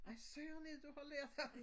Hvad søren er det du har lært ham?